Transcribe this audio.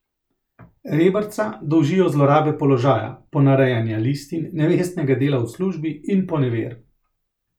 Reberca dolžijo zlorabe položaja, ponarejanja listin, nevestnega dela v službi in poneverb.